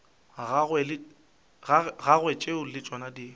gagwe tšeo le tšona di